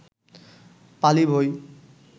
পালি বই